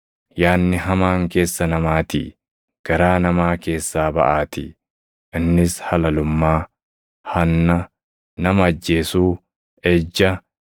Yaadni hamaan keessa namaatii, garaa namaa keessaa baʼaatii; innis halalummaa, hanna, nama ajjeesuu, ejja,